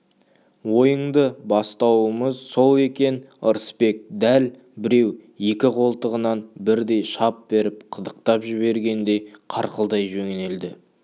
ойыңды бастауымыз сол екен ырысбек дәл біреу екі қолтығынан бірдей шап беріп қытықтап жібергендей қарқылдай жөнелді